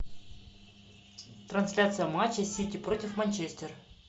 трансляция матча сити против манчестер